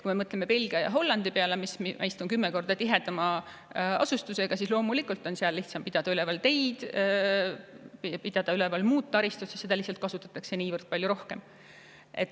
Kui me mõtleme Belgia ja Hollandi peale, mis on meist 10 korda tihedama asustusega, siis loomulikult on seal lihtsam pidada üleval teid ja muud taristut, sest neid kasutatakse lihtsalt niivõrd palju rohkem.